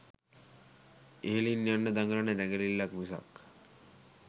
ඉහළින් යන්න දඟලන දැඟලිල්ලක් මිසක්